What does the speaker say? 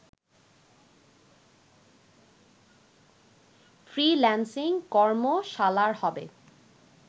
freelancing কর্মশালার হবে